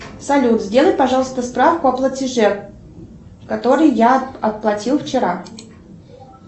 салют сделай пожалуйста справку о платеже который я оплатил вчера